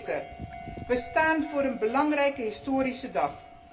Voorzitter, we staan voor een belangrijke historische dag.